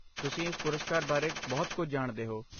ਤੁਸੀਂ ਇਸ ਪੁਰਸਕਾਰ ਬਾਰੇ ਬਹੁਤ ਕੁਝ ਜਾਣਦੇ ਹੋ